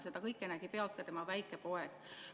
Seda kõike nägi pealt ka tema väike poeg.